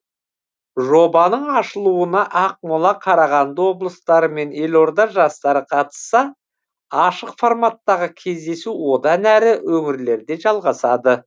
жобаның ашылуына ақмола қарағанды облыстары мен елорда жастары қатысса ашық форматтағы кездесу одан әрі өңірлерде жалғасады